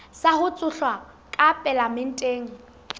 sa ho tshohlwa ka palamenteng